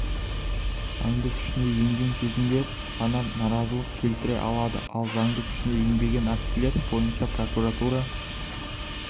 заңды күшіне енген кезінде ғана наразылық келтіре алады ал заңды күшіне енбеген актілер бойынша прокуратура